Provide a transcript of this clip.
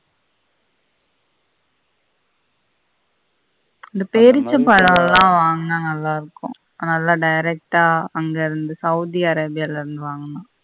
அந்த பேரிச்சம் பழம்லாம் வாங்கினா நல்லா இருக்கும் அது நல்ல direct ஆ அங்க இருந்து சவுதி அரேபியாவில இருந்து வாங்கணும்